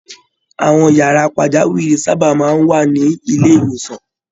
Àwọn yàrá pajawiri sábà máa ń wà ní ilé-ìwòsàn.